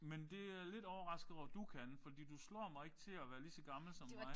Men det er jeg lidt overrasket over du kan fordi du slår mig ikke til at være lige så gammel som mig